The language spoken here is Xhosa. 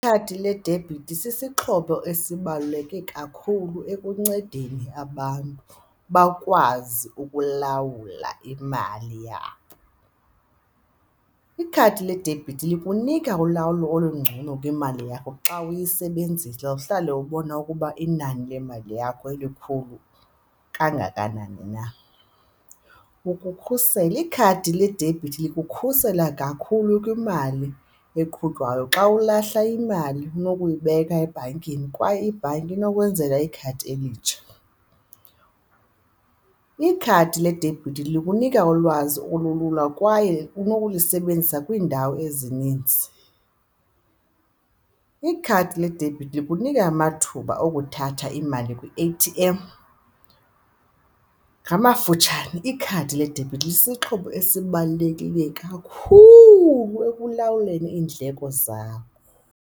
Ikhadi ledebhithi sisixhobo esibaluleke kakhulu ekuncedeni abantu bakwazi ukulawula imali yabo. Ikhadi ledebhithi likunika ulawulo olungcono kwimali yakho xa uyisebenzisa uhlale ubona ukuba inani lemali yakho likhulu kangakanani na. Ukukhusela, ikhadi ledebhithi likukhusela kakhulu kwimali eqhutywayo xa ulahla imali nokuyibeka ebhankini kwaye ibhanki inokwenzela ikhadi elitsha. Ikhadi ledebhithi likunika ulwazi olulula kwaye unokulisebenzisa kwiindawo ezininzi. Ikhadi ledebhithi likunika amathuba okuthatha imali kwi-A_T_M. Ngamafutshane, ikhadi ledebhithi lisisixhobo esibalulekileyo kakhulu ekulawuleni iindleko zakho.